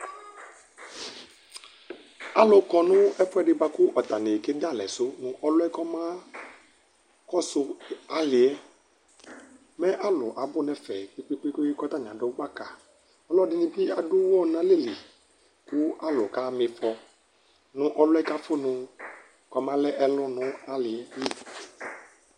Alʋ kɔnʋ ɛfʋɛdi bʋakʋ atani keda alɛsʋ, ɔlʋ yɛ kɔmakɔsʋ ali yɛ Mɛ alʋ abʋ nʋ ɛfɛ koe kpe kpe kʋ atani adʋ gbaka Ɔlɔdinibi adʋ ʋwɔ nʋ alɛli, kʋ alʋ kaxama ifɔ nʋ ɔlʋ yɛ kʋ afʋnʋ kɔmalɛ ɛlʋ nʋ aliyɛli